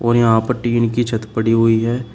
यहां पर टीन की छत पड़ी हुई है।